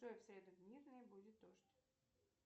джой в среду в мирный будет дождь